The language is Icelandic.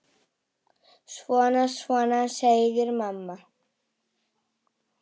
Svona, svona, segir mamma.